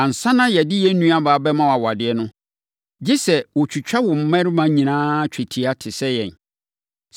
Ansa na yɛde yɛn nuabaa bɛma wo awadeɛ no, gye sɛ woatwitwa wo mmarima nyinaa twetia te sɛ yɛn.